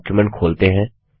document खोलते हैं